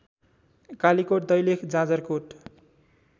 Kalikot Dailekh Jajarkot